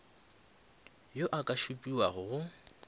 yo a ka šupiwago go